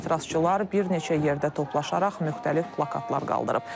Etirazçılar bir neçə yerdə toplaşaraq müxtəlif plakatlar qaldırıb.